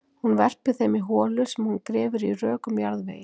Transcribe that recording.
Hún verpir þeim í holu sem hún grefur í rökum jarðvegi.